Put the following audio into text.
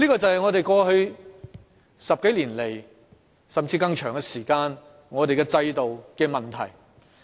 這便是過去10多年來，甚至更長時間，我們的制度所出現的問題。